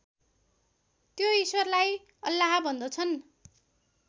त्यो ईश्वरलाई अल्लाह भन्दछन्